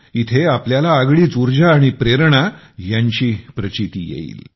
इथे आपल्याला आगळीच उर्जा आणि प्रेरणा यांची प्रचीती येईल